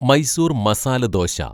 Mysore masala dosa